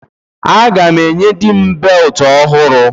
Aga m enye dịm beltụ ọhụrụ.